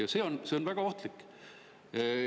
Aga see on väga ohtlik.